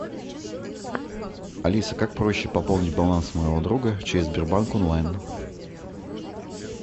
алиса как проще пополнить баланс моего друга через сбербанк онлайн